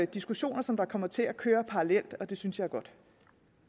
diskussioner som kommer til at køre parallelt og det synes jeg er godt